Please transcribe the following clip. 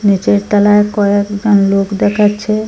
নীচের তলার কয়েকজন লোক দেখাচ্ছে।